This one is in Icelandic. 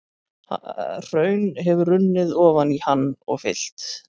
Hraun hefur runnið ofan í hann og fyllt.